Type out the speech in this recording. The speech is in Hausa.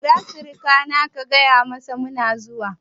Ki kira sirikina ka gayamasa muna zuwa!